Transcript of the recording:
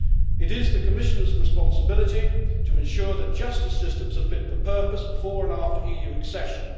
It is the Commissioners' responsibility to ensure that justice systems are fit for purpose before and after EU accession.